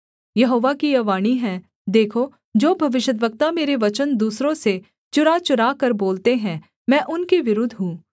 यहोवा की यह वाणी है देखो जो भविष्यद्वक्ता मेरे वचन दूसरों से चुराचुराकर बोलते हैं मैं उनके विरुद्ध हूँ